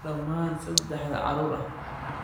Dhammaan saddexda carruur ah?